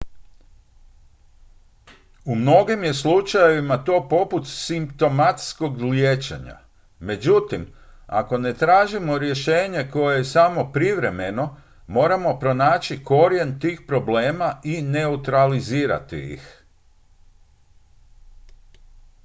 u mnogim je slučajevima to poput simptomatskog liječenja međutim ako ne tražimo rješenje koje je samo privremeno moramo pronaći korijen tih problema i neutralizirati ih